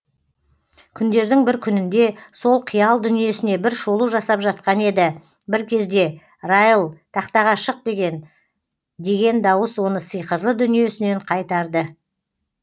күндердің бір күнінде сол қиял дүниесіне бір шолу жасап жатқан еді бір кезде райл тақтаға шық деген деген дауыс оны сиқырлы дүниесінен қайтарды